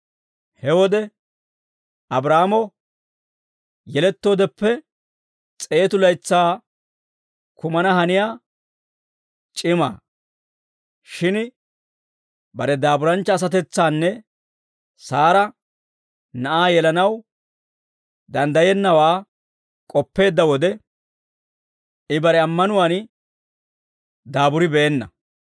He wode, Abraahaamo yelettoodeppe s'eetu laytsaa kumana haniyaa c'imaa; shin bare daaburanchcha asatetsaanne Saara na'aa yelanaw danddayennawaa k'oppeedda wode, I bare ammanuwaan daaburibeenna.